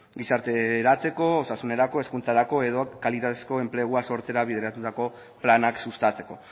gizarterako osasunerako hezkuntzarako edo kalitatezko enplegua sortzera bideratutako planak sustatzeko